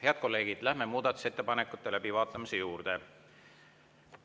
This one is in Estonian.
Head kolleegid, läheme muudatusettepanekute läbivaatamise juurde.